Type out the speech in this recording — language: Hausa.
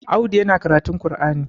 Audu yana karatun qur'ani